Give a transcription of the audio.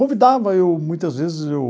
Convidava eu, muitas vezes eu...